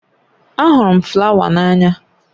Ahụrụ m flawa n'anya